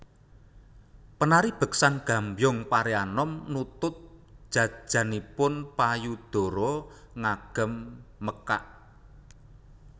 Penari beksan Gambyong Pareanom nutup jajanipun payudara ngagem mekak